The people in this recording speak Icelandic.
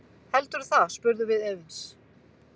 Heldurðu það, spurðum við efins.